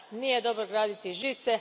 Nije dobro graditi žice.